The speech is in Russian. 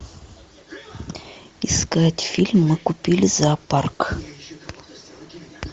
искать фильм мы купили зоопарк